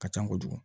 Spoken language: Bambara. Ka ca kojugu